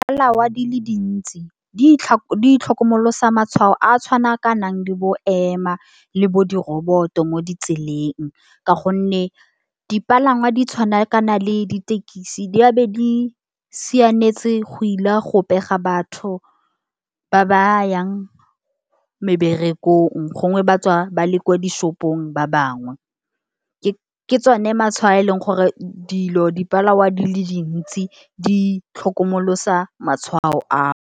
Dipalangwa di le dintsi, di itlhokomolosa matshwao a tshwana ka nang le bo ema, le bo diroboto mo ditseleng. Ka gonne dipalangwa di tshwana kana le ditekisi di a be di siametse go ile go pega batho ba ba yang meberekong, gongwe ba tswa ba le ko dishopong ba bangwe. Ke tsone matshwao eleng gore dilo dipalangwa di le dintsi di itlhokomolosa matshwao ao.